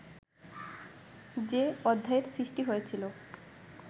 যে অধ্যায়ের সৃষ্টি হয়েছিল